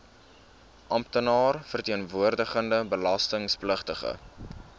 amptenaar verteenwoordigende belastingpligtige